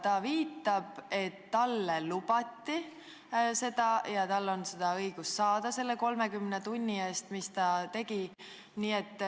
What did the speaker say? Ta viitab, et talle lubati seda ja tal on õigus seda selle 30 tunni eest saada.